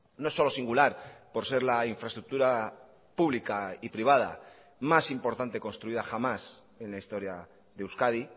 no solo singular por ser la infraestructura pública y privada más importante construida jamás en la historia de euskadi